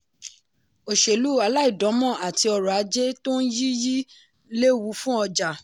òṣèlú aláìdáǹmọ̀ àti ọrọ̀ ajé tó n yí yí lewu fún ọjà.